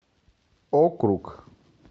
округ